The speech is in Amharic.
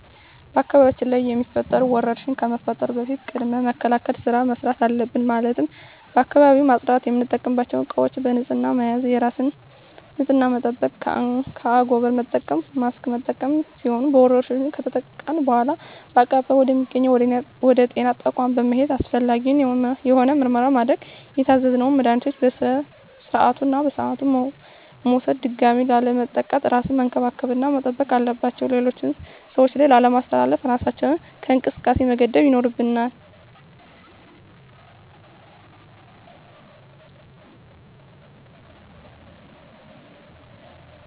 በአካባቢያችን ላይ የሚፈጠሩ ወረርሽኝ ከመፈጠሩ በፊት ቅድመ መከላከል ስራ መስራት አለብን ማለትም አካባቢውን ማፅዳት፣ የምንጠቀምባቸው እቃዎች በንህፅና መያዝ፣ የራስን ንፅህና መጠበቅ፣ አንጎበር መጠቀም፣ ማስክ መጠቀም ሲሆኑ በወረርሽኙ ከተጠቃን በኃላ በአቅራቢያ ወደ ሚገኝ ወደ ጤና ተቋም በመሔድ አስፈላጊውን የሆነ ምርመራ ማድረግ የታዘዘውን መድሀኒቶች በስርዓቱ እና በሰዓቱ መውሰድ ድጋሚ ላለመጠቃት እራስን መንከባከብ እና መጠንቀቅ አለባቸው ሌሎች ሰዎች ላይ ላለማስተላለፍ እራሳችንን ከእንቅስቃሴ መገደብ ይኖርብናል።